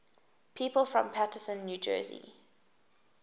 people from paterson new jersey